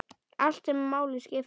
Allt sem máli skipti.